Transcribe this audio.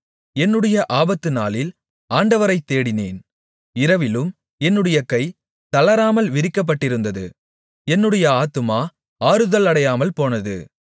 என்னுடைய ஆபத்துநாளில் ஆண்டவரைத் தேடினேன் இரவிலும் என்னுடைய கை தளராமல் விரிக்கப்பட்டிருந்தது என்னுடைய ஆத்துமா ஆறுதலடையாமல்போனது